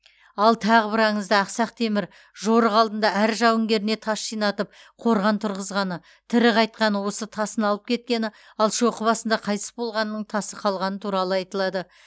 ал тағы бір аңызда ақсақ темір жорық алдында әр жауынгеріне тас жинатып қорған тұрғызғаны тірі қайтқаны өз тасын алып кеткені ал шоқы басында қайтыс болғанының тасы қалғаны туралы айтылады